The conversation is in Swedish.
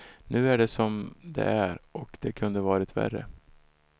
Nu är det som det är och det kunde ha varit värre.